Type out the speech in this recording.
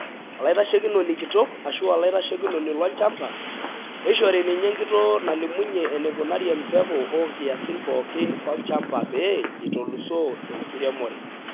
Olaitashekinoni kitok( oloitashekinoni lolchamba) neishori ninye enkitoo nalimunyie eneikunari empeku o nkiasin pooki olchamba pee eitolusoo enkiremore.